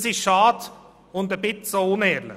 Das ist schade und auch etwas unehrlich.